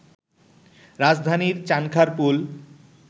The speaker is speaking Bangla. রাজধানীর চানখাঁরপুল